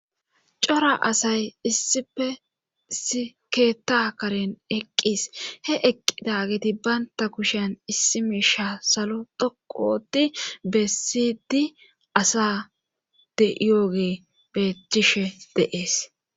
cora asay issife si keeta karen eqqis he eqqida geti baynta kushiyan issi miisha salo dhoqu oti beessidi asa de' yooge beetishe de'es